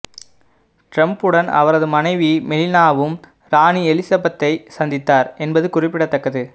டிரம்புடன் அவரது மனைவி மெலினாவும் ராணி எலிசபெத்தை சந்தித்தார் என்பது குறிப்பிடத்தக்கது